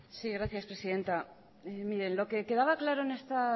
sí gracias presidenta lo que quedaba claro en esta